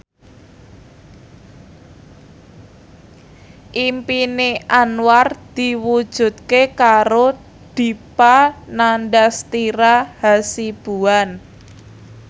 impine Anwar diwujudke karo Dipa Nandastyra Hasibuan